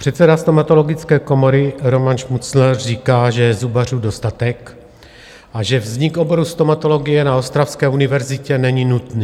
Předseda Stomatologické komory Roman Šmucler říká, že je zubařů dostatek a že vznik oboru stomatologie na ostravské univerzitě není nutný.